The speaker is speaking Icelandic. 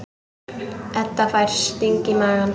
Edda fær sting í magann.